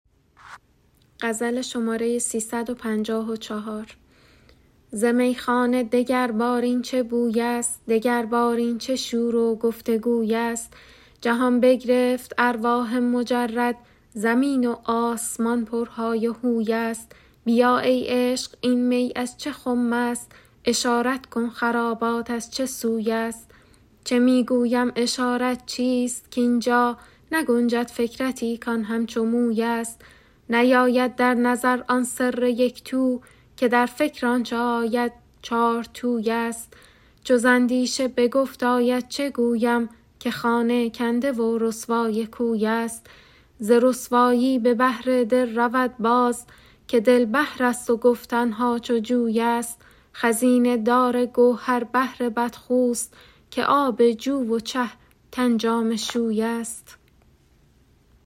ز میخانه دگربار این چه بویست دگربار این چه شور و گفت و گویست جهان بگرفت ارواح مجرد زمین و آسمان پرهای و هوی ست بیا ای عشق این می از چه خمست اشارت کن خرابات از چه سوی ست چه می گویم اشارت چیست کاین جا نگنجد فکرتی کان همچو مویست نیاید در نظر آن سر یک تو که در فکر آنچ آید چارتویست چو ز اندیشه به گفت آید چه گویم که خانه کنده و رسوای کویست ز رسوایی به بحر دل رود باز که دل بحرست و گفتن ها چو جویست خزینه دار گوهر بحر بدخوست که آب جو و چه تن جامه شویست